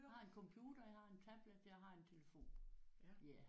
Jeg har en computer jeg har en tablet jeg har en telefon ja